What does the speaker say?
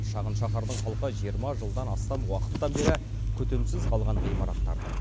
шағын шаһардың халқы жиырма жылдан астам уақыттан бері күтімсіз қалған ғимараттардың